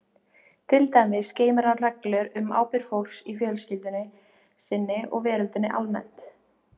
Til dæmis geymir hann reglur um ábyrgð fólks í fjölskyldu sinni og veröldinni almennt.